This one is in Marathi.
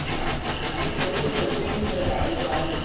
हा आणि थोडक्यात जनतेनं सुद्धा जागृत राहून